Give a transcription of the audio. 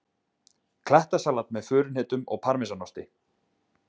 Klettasalat með furuhnetum og parmesanosti